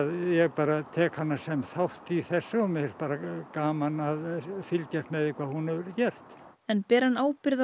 ég tek hana sem þátt í þessu og mér finnst gaman að fylgjast með því hvað hún hefur gert en ber hann ábyrgð á